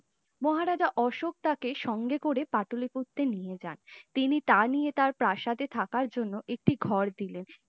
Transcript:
মহারাজা অশোক তাকে সঙ্গে করে পাটলিপুত্র নিয়ে যান তিনি তা নিয়ে তার প্রাসাদে থাকার জন্য একটি ঘর দিলে